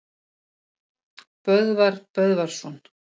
Böðvar Böðvarsson